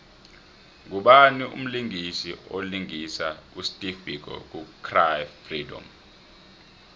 ngubani mlisingisi olingisa usteve biko ku cry freedom